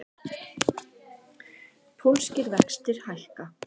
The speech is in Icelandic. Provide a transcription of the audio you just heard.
Pólskir vextir hækka